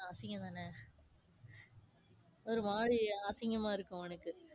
அஹ் அசிங்கந்தானே? ஒரு மாறி அசிங்கமா இருக்கும் அவனுக்கு.